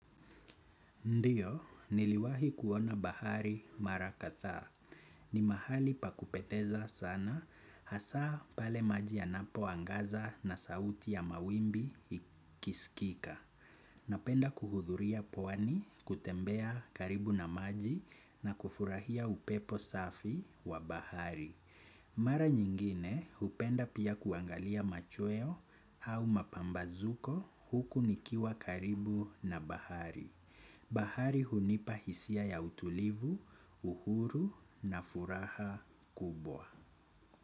Ndiyo, niliwahi kuona bahari mara kathaa. Ni mahali pa kupeteza sana, hasa pale maji yanapo angaza na sauti ya mawimbi ikiskika. Napenda kuhudhuria pwani kutembea karibu na maji na kufurahia upepo safi wa bahari. Mara nyingine, hupenda pia kuangalia machweo au mapambazuko huku nikiwa karibu na bahari. Bahari hunipa hisia ya utulivu, uhuru na furaha kubwa.